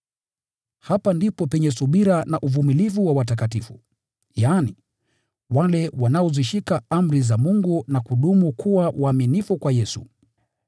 Hapa ndipo penye wito wa subira na uvumilivu wa watakatifu; wale wanaozishika amri za Mungu na kudumu katika uaminifu kwa Yesu.